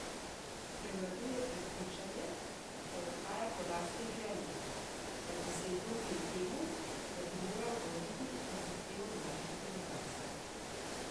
Prevladuje prepričanje, da odhaja po lastni želji, da bi se izognil temu, da bi moral oditi na zahtevo mlajše generacije.